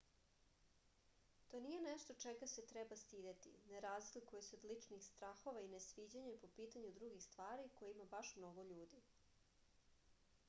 to nije nešto čega se treba stideti ne razlikuje se od ličnih strahova i nesviđanja po pitanju drugih stvari koje ima baš mnogo ljudi